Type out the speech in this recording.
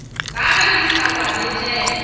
ka ge di sa kwametšege